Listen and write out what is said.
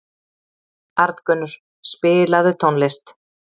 Arngunnur, spilaðu tónlist.